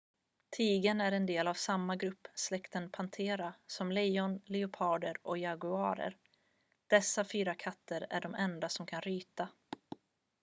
tigern är del av samma grupp släkten panthera som lejon leoparder och jaguarer. dessa fyra katter är de enda som kan ryta